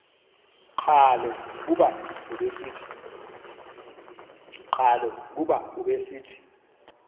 qhalo kuba ubesithi